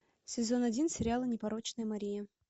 сезон один сериала непорочная мария